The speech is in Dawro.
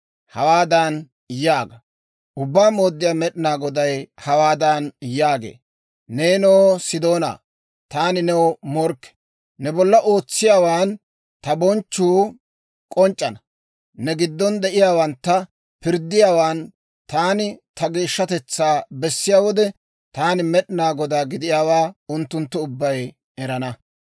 Hawaadan yaaga; ‹Ubbaa Mooddiyaa Med'inaa Goday hawaadan yaagee; «Neenoo, Sidoonaa, taani new morkke! ne bolla ootsiyaawaan ta bonchchuu k'onc'c'ana. Ne giddon de'iyaawantta pirddiyaawaan taani ta geeshshatetsaa bessiyaa wode, taani Med'inaa Godaa gidiyaawaa unttunttu ubbay erana.